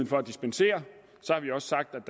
for at dispensere